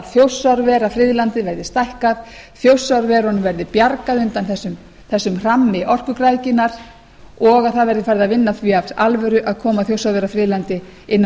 að friðlandið verði stækkað þjórsárverunum verði bjargað undan þessum hrammi orkugræðginnar og það verði farið að því af alvöru að koma þjórsárverafriðlandi inn á